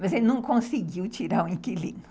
Mas ele não conseguiu tirar o inquilino.